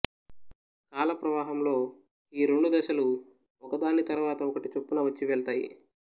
కాలప్రవాహంలో ఈ రెండు దశలు ఒకదాని తర్వాత ఒకటి చొప్పున వచ్చివెళ్తాయి